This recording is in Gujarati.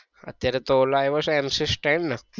અત્યારે તો એલો આવ્યો છે mcstand ને.